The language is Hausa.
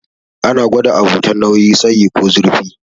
Ana gwada abu ta nauyi, tsayi ko zurfi.